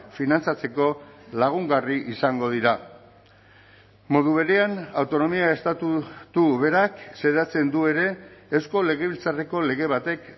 finantzatzeko lagungarri izango dira modu berean autonomia estatutu berak xedatzen du ere eusko legebiltzarreko lege batek